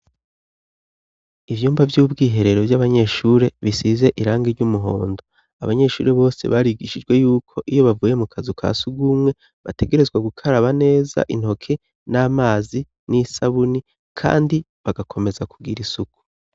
Ivyumba vy'ubwiherero vy'abanyeshuri bisize irange ry'umuhondo abanyeshuri bose barigishijwe yuko iyo bavuye mu kazi uka si ugumwe bategerezwa gukaraba neza intoke n'amazi n'isabuni, kandi bagakomeza kugira isuku.